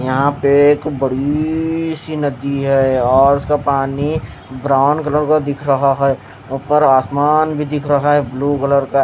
यहाँ पे एक बड़ी सी नदी है यार उसका पानी ब्राउन कलर का दिख रहा है ऊपर आसमान भी दिख रहा है ब्लू कलर का--